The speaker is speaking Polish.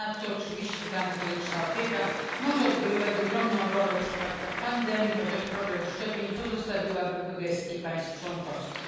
Ponadto oczywiście transgraniczna opieka może odgrywać ogromną rolę w przypadkach pandemii, chociaż problem szczepień pozostawiłabym w gestii państw członkowskich.